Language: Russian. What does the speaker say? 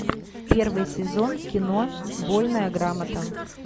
первый сезон кино вольная грамота